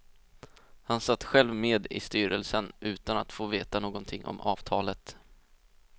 Han satt själv med i styrelsen utan att få veta någonting om avtalet.